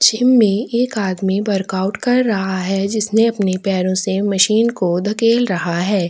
Gym में एक आदमी वर्कआउट कर रहा है जिसने अपने पैरों से मशीन को धकेल रहा है।